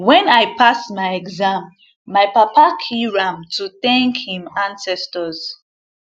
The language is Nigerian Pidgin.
when i pass my exam my papa kill ram to thank im ancestors